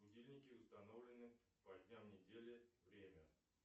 будильники установлены по дням недели время